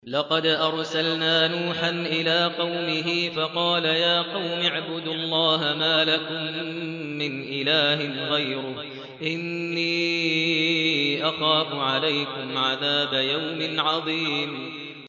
لَقَدْ أَرْسَلْنَا نُوحًا إِلَىٰ قَوْمِهِ فَقَالَ يَا قَوْمِ اعْبُدُوا اللَّهَ مَا لَكُم مِّنْ إِلَٰهٍ غَيْرُهُ إِنِّي أَخَافُ عَلَيْكُمْ عَذَابَ يَوْمٍ عَظِيمٍ